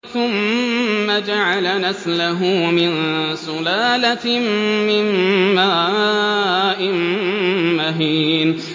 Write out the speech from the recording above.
ثُمَّ جَعَلَ نَسْلَهُ مِن سُلَالَةٍ مِّن مَّاءٍ مَّهِينٍ